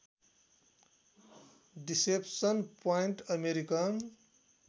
deception point American